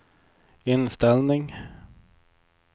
inställning